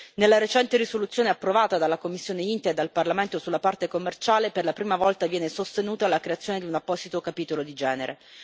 Nella recente risoluzione approvata dalla commissione per il commercio internazionale e dal Parlamento sulla parte commerciale, per la prima volta viene sostenuta la creazione di un apposito capitolo di genere.